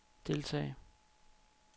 deltage